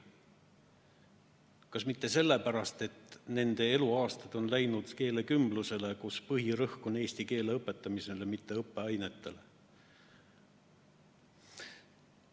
Kas pole põhjus hoopis mitte selles, et nende eluaastad on läinud keelekümblusele, kus põhirõhk on eesti keele õpetamisel, mitte õppeainetel?